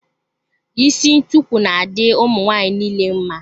Isi ntukwu na-adị ụmụ nwaanyị nile mma.